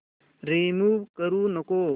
remove करू नको